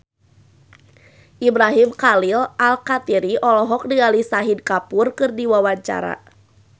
Ibrahim Khalil Alkatiri olohok ningali Shahid Kapoor keur diwawancara